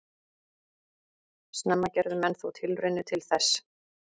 Snemma gerðu menn þó tilraunir til þess.